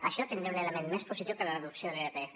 això tindria un element més positiu que de reducció de l’irpf